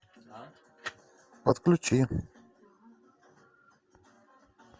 отключи